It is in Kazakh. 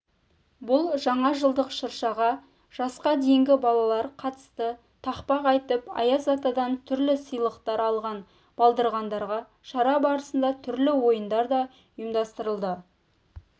бұл жаңажылдық шыршаға жасқа дейінгі балалар қатысты тақпақ айтып аяз атадан түрлі сыйлықтар алған балдырғандарға шара барысында түрлі ойындар да ұйымдастырылды